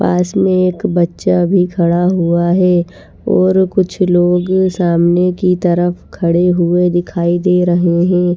पास में एक बच्चा भी खड़ा हुआ है और कुछ लोग सामने की तरफ खड़े हुए दिखाई दे रहे हैं।